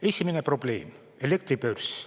Esimene probleem – elektribörs.